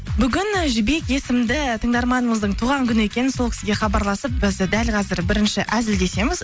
бүгін жібек есімді тыңдарманымыздың туған күні екен сол кісіге хабарласып біз дәл қазір бірінші әзілдесеміз